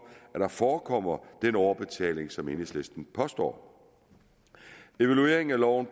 at der forekommer den overbetaling som enhedslisten påstår evalueringen af loven